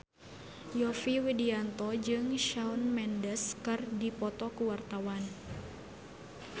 Yovie Widianto jeung Shawn Mendes keur dipoto ku wartawan